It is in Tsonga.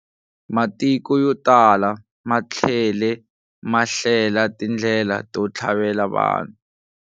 Matiko yo tala ma tlhele ma hlela tindlela to thlavela vanhu.